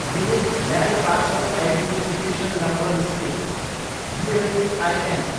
unique land parcel identification number scheme, ULPIN